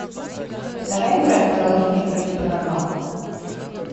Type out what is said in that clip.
давай играть в приложение крути барабан